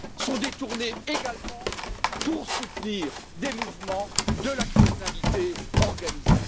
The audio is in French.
sont détournés également pour soutenir des mouvements de la criminalité organisée.